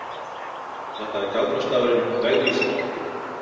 Þetta er galdrastafurinn Vegvísir.